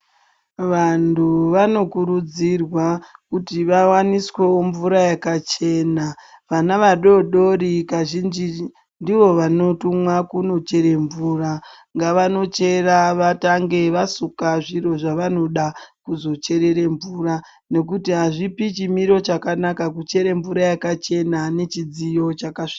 Vantu vanokurudzirwa kuti vawaniswewo mvura yakachena vana vadodoori kazhinji ndivo vanotumwa kundochera mvura ngavanochera vatange vasuka zviro zvavanoda kuzocherera mvura nekuti hazvipi chimiro chakanaka kuchera mvura yakachena nechidziyo chakasvipa.